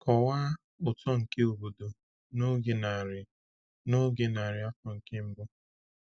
Kọwaa uto nke obodo n’oge narị n’oge narị afọ nke mbụ.